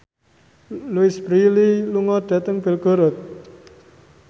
Louise Brealey lunga dhateng Belgorod